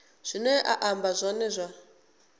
zwine a amba zwone zwa